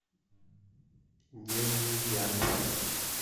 нежный яд